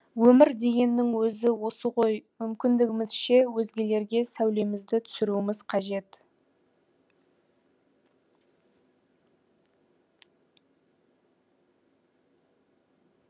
өмір дегеннің өзі осы ғой мүмкіндігімізше өзгелерге сәулемізді түсіруіміз қажет